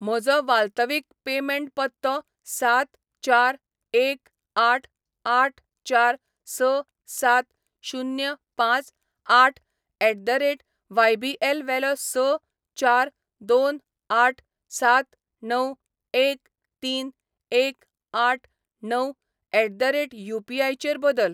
म्हजो वाल्तवीक पेमेंट पत्तो सात चार एक आठ आठ चार स सात शुन्य पांच आठ एट द रेट वायबीएल वेलो स चार दोन आठ सात णव एक तीन एक आठ णव एट द रेट युपीआय चेर बदल.